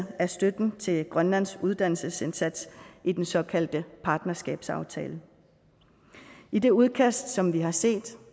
af støtten til grønlands uddannelsesindsats i den såkaldte partnerskabsaftale i det udkast som vi har set